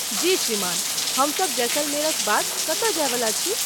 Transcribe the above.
जी श्रीमान, हम सभ जैसलमेरक बाद कतय जायवला छी।